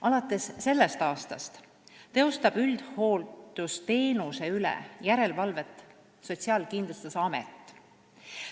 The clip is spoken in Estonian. Alates sellest aastast on järelevalve üldhooldusteenuse üle Sotsiaalkindlustusameti ülesanne.